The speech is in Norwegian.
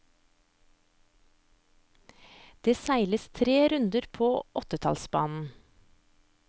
Det seiles tre runder på åttetallsbanen.